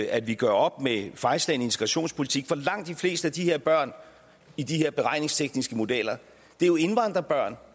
at vi gør op med fejlslagen integrationspolitik for langt de fleste af de her børn i de her beregningstekniske modeller er jo indvandrerbørn